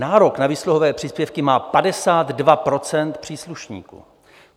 Nárok na výsluhové příspěvky má 52 % příslušníků.